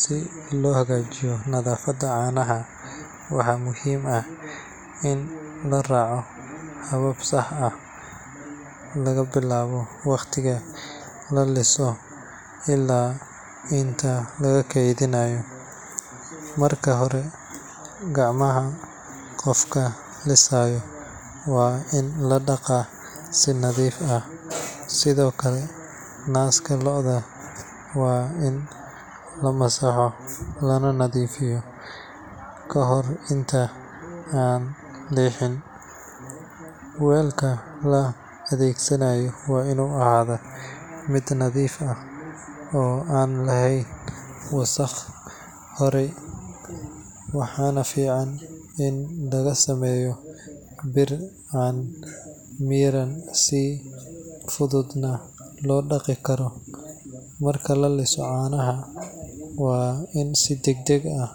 Si loo hagaajiyo nadaafadda caanaha, waxaa muhiim ah in la raaco habab sax ah laga bilaabo waqtiga la liso ilaa inta la keydinayo. Marka hore, gacmaha qofka lisaya waa in la dhaqaa si nadiif ah, sidoo kale naaska lo’da waa in la masaxo lana nadiifiyo ka hor inta aan la lixin. Weelka la adeegsanayo waa inuu ahaadaa mid nadiif ah oo aan lahayn wasakh hore, waxaana fiican in laga sameeyo bir aan miran si fududna loo dhaqi karo. Marka la liso caanaha, waa in si degdeg ah